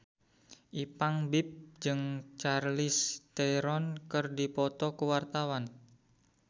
Ipank BIP jeung Charlize Theron keur dipoto ku wartawan